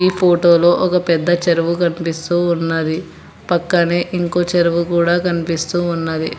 ఈ ఫోటోలో ఒక పెద్ద చెరువు కనిపిస్తూ ఉన్నది పక్కనే ఇంకో చెరువు కూడా కనిపిస్తూ ఉన్నది.